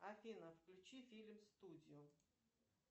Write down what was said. афина включи фильм студио